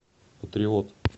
патриот